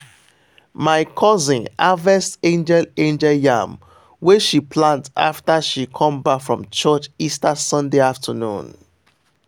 my cousin harvest angel angel yam wey she plant after she come back from church easter sunday afternoon.